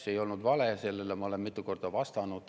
See ei olnud vale, sellele ma olen mitu korda vastanud.